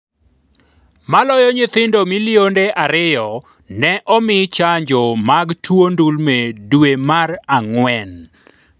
Maloyo nyithindo milionde ariyo ne omi chanjo mag tuo ndulme dwe mar ang'wen